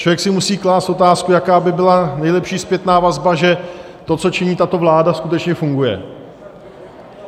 Člověk si musí klást otázku, jaká by byla nejlepší zpětná vazba, že to, co činí tato vláda, skutečně funguje.